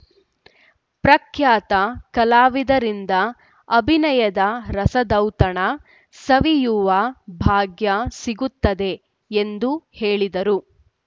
ಪ್ರಖ್ಯಾತ ಕಲಾವಿದರಿಂದ ಅಭಿನಯದ ರಸದೌತಣ ಸವಿಯುವ ಭಾಗ್ಯ ಸಿಗುತ್ತದೆ ಎಂದು ಹೇಳಿದರು